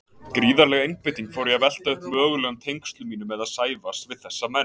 Gríðarleg einbeiting fór í að velta upp mögulegum tengslum mínum eða Sævars við þessa menn.